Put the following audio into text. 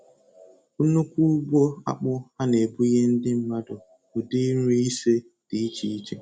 Nnukwu ugbo akpụ ha na-ebunye ndị mmadụ ụdị nri ise dị iche iche.